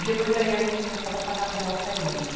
E depois aí, a gente começava a pagar aluguel para eles.